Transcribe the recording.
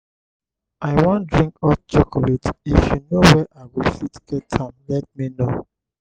i wan drink hot chocolate if you know where i go fit get am let me know